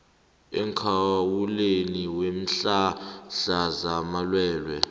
emkhawulweni weenhlahla zamalwelwe